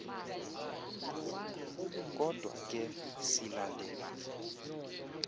kodwa ke silandela